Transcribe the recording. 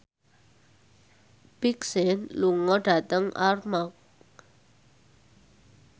Big Sean lunga dhateng Armargh